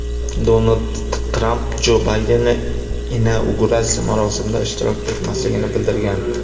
Donald Tramp Jo Baydenning inauguratsiya marosimida ishtirok etmasligini bildirgan .